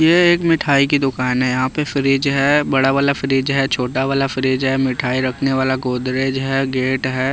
ये एक मिठाई की दुकान है यहाँ पे फ्रिज है बड़ा वाला फ्रिज है छोटा वाला फ्रिज है मिठाई रखने वाला गोदरेज है गेट है।